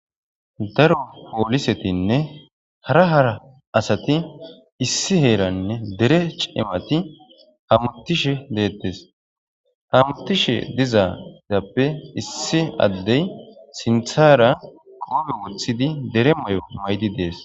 daro poolisetinne hara hara asati issi heeranne dere cimati hamutishe deettes hamutishe dizadappe issi addey sinthara goobe wothidi dere may7o maydi dees